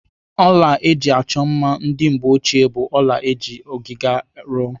Ọla eji achọ mma ndị mgbeochie bụ ọla eji ọgịga rụọ.